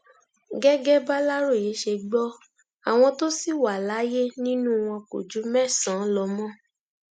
gẹgẹ bàlàròyé ṣe gbọ àwọn tó ṣì wà láyé nínú wọn kò ju mẹsànán lọ mọ